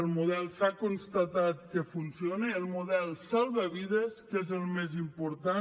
el model s’ha constatat que funciona el model salva vides que és el més important